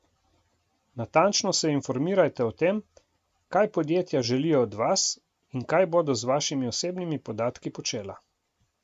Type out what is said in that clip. Natančno se informirajte o tem, kaj podjetja želijo od vas in kaj bodo z vašimi osebnimi podatki počela.